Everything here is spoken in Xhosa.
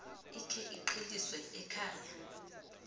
ikhe iqheliswe ekhaya